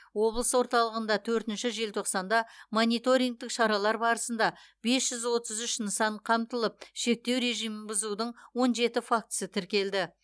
облыс орталығында төртінші желтоқсанда мониторингтік шаралар барысында бес жүз отыз үш нысан қамтылып шектеу режимін бұзудың он жеті фактісі тіркелді